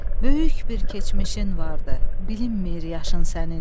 Böyük bir keçmişin vardır, bilinmir yaşın sənin.